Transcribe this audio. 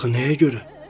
Axı nəyə görə?